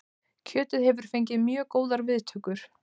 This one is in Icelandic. Kjötið hefur fengið mjög góðar viðtökur